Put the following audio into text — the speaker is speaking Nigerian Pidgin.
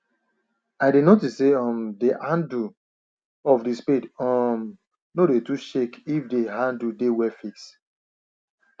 i dey notice say um the handle of the spade um nor dey too shake if the handle dey well fixed